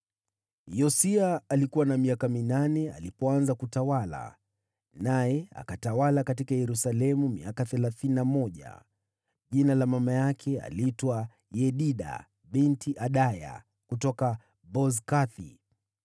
Yosia alikuwa na miaka minane alipoanza kutawala, naye akatawala huko Yerusalemu miaka thelathini na mmoja. Mama yake aliitwa Yedida binti Adaya, kutoka Boskathi.